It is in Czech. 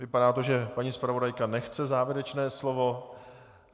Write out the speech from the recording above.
Vypadá to, že paní zpravodajka nechce závěrečné slovo.